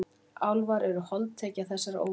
Álfar eru holdtekja þessarar óvissu.